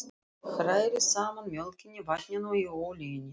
Hrærið saman mjólkinni, vatninu og olíunni.